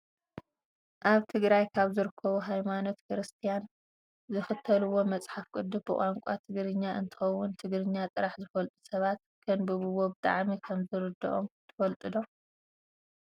ኣብ ትግራይ ካብ ዝርከቡ ሃይማኖት ክርስትያን ዝክተልዎ መፅሓፍ ቅዱስ ብቋንቋ ትግርኛ እንትከውን ትግርኛ ጥራሕ ዝፈልጡ ሰባት ከንብብዎ ብጣዕሚ ከምዝርድኦም ትፈልጡ ዶ?